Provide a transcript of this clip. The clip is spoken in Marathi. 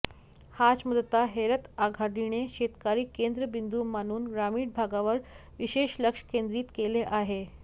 हाच मुददा हेरत आघाडीने शेतकरी केंद्रबिंदू मानून ग्रामीण भागावर विशेष लक्ष केंद्रित केले आहे